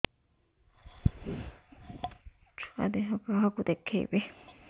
ଛୁଆ ଦେହ କାହାକୁ ଦେଖେଇବି